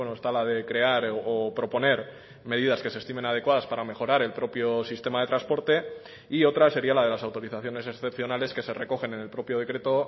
está la de crear o proponer medidas que se estimen adecuadas para mejorar el propio sistema de transporte y otra sería la de las autorizaciones excepcionales que se recogen en el propio decreto